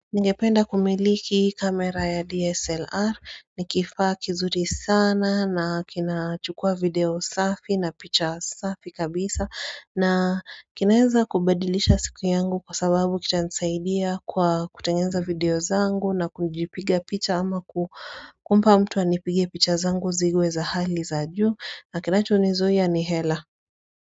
Ningependa kumiliki kamera ya DSLR, ni kifaa kizuri sana na kina chukua video safi na picha safi kabisa na kinaeza kubadilisha siku yangu kwa sababu kitanisaidia kwa kutengeza video zangu na kujipiga picha ama kumpa mtu anipige picha zangu ziwe za hali za juu na kinachonizuia ni hela.